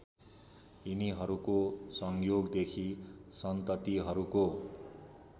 यिनीहरूको संयोगदेखि सन्ततिहरूको